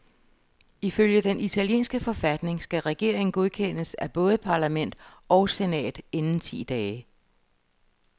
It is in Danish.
Ifølge den italienske forfatning skal regeringen godkendes af både parlament og senat inden ti dage.